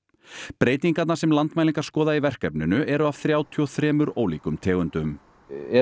breytingarnar sem Landmælingar skoða í verkefninu eru af þrjátíu og þremur ólíkum tegundum er